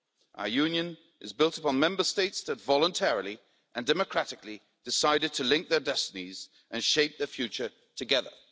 Our Union is built upon Member States that voluntarily and democratically decided to link their destinies and shape the future together.